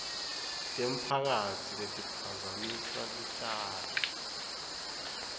temphakatsi letiphazamisa lutjalo